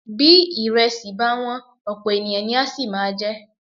Bí ìrẹsì bá wọ́n, ọ̀pọ̀ ènìyàn ni á sì máa jẹ ẹ́.